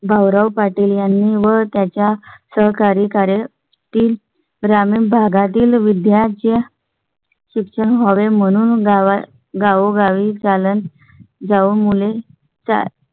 भाव राव पाटील यांनी व त्यांच्या सहकारी कार्यतील ग्रामीण भागातील विद्यार्थ्यां. शिक्षक म्हणून गावो गावी चालत जाऊन मुले चा